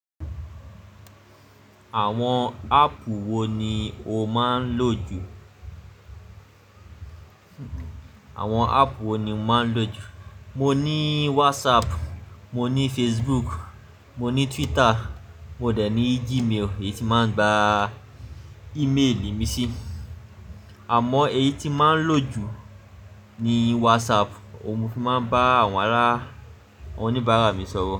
Àwọn app wo ni o máa ń lò jù? Mo ní WhatsApp, mo ní Facebook, mo ní Twitter, mo dẹ̀ ní Gmail, èyí tí máa ń gba ìméèlì mi sí. Àmọ́ èyí tí màá ń lò jù ni WhatsApp, óun mo fi màá ń bá àwọn alárà, àwọn oníbàárà mi sọ̀rọ̀